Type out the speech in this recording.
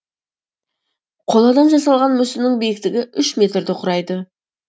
қоладан жасалған мүсіннің биіктігі үш метрді құрайды